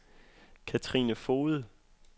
Cathrine Foged